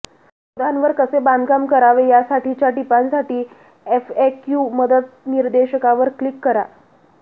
शोधांवर कसे बांधकाम करावे यासाठीच्या टिपांसाठी एफएक्यू मदत निर्देशिकेवर क्लिक करा